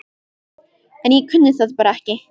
En ég kunni það bara ekki.